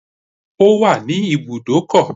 It's at the car park